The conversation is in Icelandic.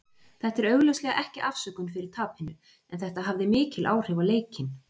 Þetta er augljóslega ekki afsökun fyrir tapinu, en þetta hafði mikil áhrif á leikinn.